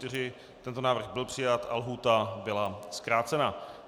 Tento návrh byl přijat a lhůta byla zkrácena.